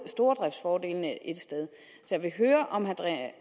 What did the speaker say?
stordriftsfordelene ét sted jeg vil høre om herre